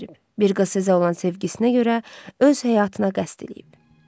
Bir qız azal olan sevgisinə görə öz həyatına qəsd eləyib.